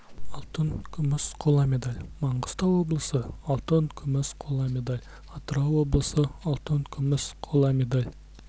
алтын күміс қола медаль маңғыстау облысы алтын күміс қола медаль атырау облысы алтын күміс қола медаль